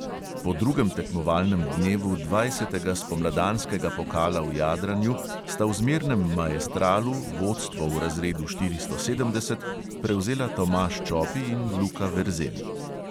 Po drugem tekmovalnem dnevu dvajsetega spomladanskega pokala v jadranju sta v zmernem maestralu vodstvo v razredu štiristo sedemdeset prevzela tomaž čopi in luka verzel.